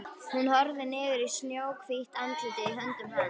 Hún horfir niður í snjóhvítt andlitið í höndum hans.